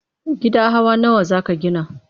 Gida hawa nawa za ka gina?